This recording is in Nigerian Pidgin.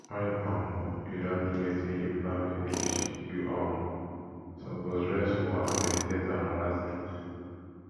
wen um you don do wetin you plan finish you um suppose rest small and meditate on oda things